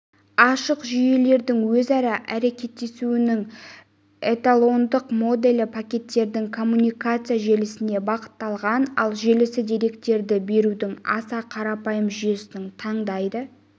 ашық жүйелердің өзара әрекеттесуінің эталондық моделі пакеттердің коммутация желісіне бағытталған ал желісі деректерді берудің аса қарапайым жүйесін таңдайды